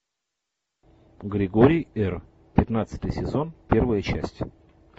григорий р пятнадцатый сезон первая часть